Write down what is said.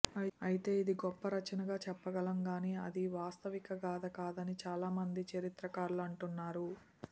అయితే ఇది గొప్ప రచనగా చెప్పగలం గానీ అది వాస్తవిక గాథ కాదనీ చాలామంది చరిత్రకారులు అంటున్నారు